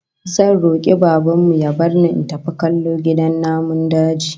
Zan roki Baban mu ya bar ni in tafi kallo gidan namun daji